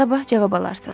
Sabah cavab alarsan.